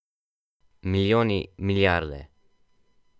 Milijoni, milijarde.